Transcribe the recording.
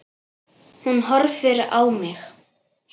Hún horfir á mig.